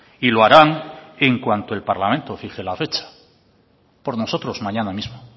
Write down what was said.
y lo harán en cuanto el parlamento fije la fecha por nosotros mañana mismo